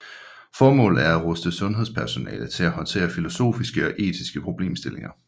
Formålet er at ruste sundhedspersonale til at håndtere filosofiske og etiske problemstillinger